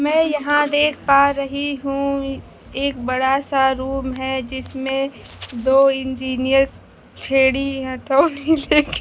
मैं यहां देख पा रही हूं एक बड़ा सा रूम है जिसमें दो इंजीनियर छेड़ी हथौड़ी लेके--